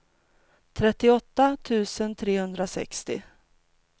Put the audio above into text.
trettioåtta tusen trehundrasextio